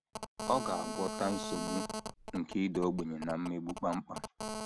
Ọ ga - agwọta nsogbu nke ịda ogbenye na mmegbu kpam kpam.